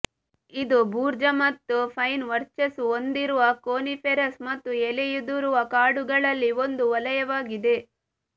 ಇದು ಭೂರ್ಜ ಮತ್ತು ಪೈನ್ ವರ್ಚಸ್ಸು ಹೊಂದಿರುವ ಕೋನಿಫೆರಸ್ ಮತ್ತು ಎಲೆಯುದುರುವ ಕಾಡುಗಳಲ್ಲಿ ಒಂದು ವಲಯವಾಗಿದೆ